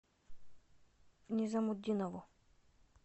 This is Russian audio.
низамутдинову